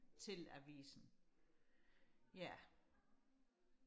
til avisen ja